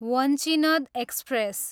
Vanchinad express